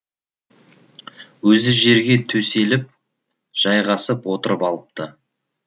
өзі жерге төселіп жайғасып отырып алыпты